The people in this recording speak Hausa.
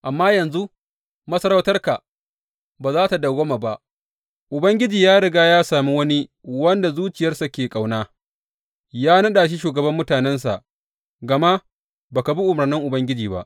Amma yanzu, masarautarka ba za tă dawwama ba, Ubangiji ya riga ya sami wani wanda zuciyarsa ke ƙauna, ya naɗa shi shugaban mutanensa gama ba ka bi umarnin Ubangiji ba.